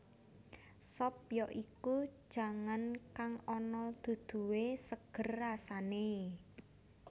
Sop ya iku jangan kang ana duduhé seger rasané